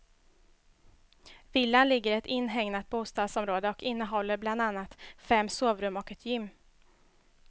Villan ligger i ett inhägnat bostadsområde och innehåller bland annat fem sovrum och ett gym.